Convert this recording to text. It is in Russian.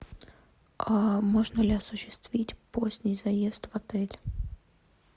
а можно ли осуществить поздний заезд в отель